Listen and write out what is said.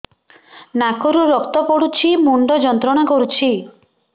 ନାକ ରୁ ରକ୍ତ ପଡ଼ୁଛି ମୁଣ୍ଡ ଯନ୍ତ୍ରଣା କରୁଛି